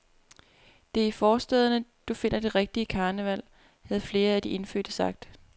Det er i forstæderne, du finder det rigtige karneval, havde flere af de indfødte sagt.